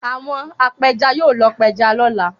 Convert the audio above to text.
Àwọn apẹja yóò lọ pẹja lọ́la.